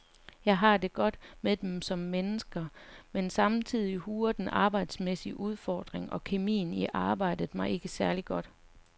Jeg har det godt med dem som mennesker, men samtidig huer den arbejdsmæssige udfordring og kemien i arbejdet mig ikke særligt godt.